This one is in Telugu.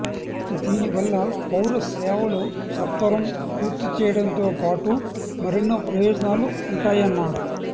దీనివల్ల పౌర సేవలు సత్వరం పూర్తిచేయడంతో పాటు మరెన్నో ప్రయోజనాలు ఉంటాయన్నారు